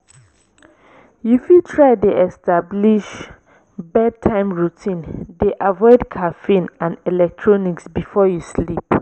you fit try dey establish bedtime routine dey avoid caffeine and electronics before before you sleep.